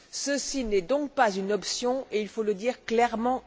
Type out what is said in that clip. Ceci n'est donc pas une option, et il faut le dire ici clairement.